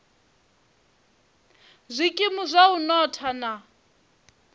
zwikimu zwa u notha na